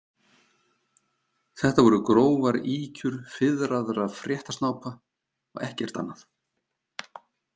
Þetta voru grófar ýkjur fiðraðra fréttasnápa og ekkert annað.